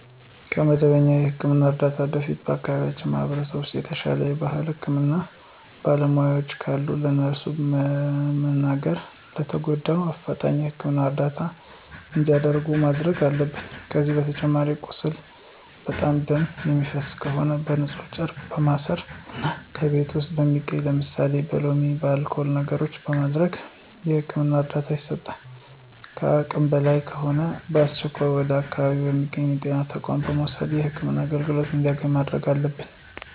ከመደበኛ የህክምና እርዳታ በፊት በአከባቢው ማህበረሰብ ውስጥ የተሻለ የባህላዊ የህክምና ባለሙያዎች ካሉ ለእነሱ በመንገር ለተጎጁ በአፍጣኝ የህክምና እርዳታ እንዲያገኝ ማድረግ አለብን። ከዚህ በተጨማሪ ቁስሉ በጣም ደም የሚፈሰው ከሆነ በንፁህ ጨርቅ በማሰር እና ከቤት ውስጥ በሚገኙ ለምሳሌ በሎሚ፣ በአልኮል ነገሮችን በማድረግ የህክምና እርዳታ ይሰጣል። ከአቅም በላይ ከሆነ በአስቸኳይ ወደ አካባቢው በሚገኙ የጤና ተቋማት በመውሰድ የህክምና አገልግሎት እንዲያገኝ ማድረግ አለብን።